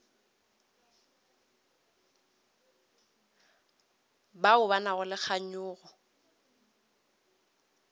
bao ba nago le kganyogo